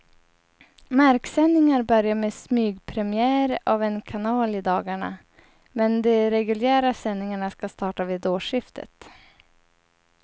Marksändningar börjar med smygpremiär av en kanal i dagarna, men de reguljära sändningarna ska starta vid årsskiftet.